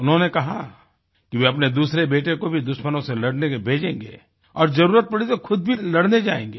उन्होंने कहा कि वे अपने दूसरे बेटे को भी दुश्मनों से लड़ने के लिए भेजेंगे और जरुरत पड़ी तो ख़ुद भी लड़ने जाएँगे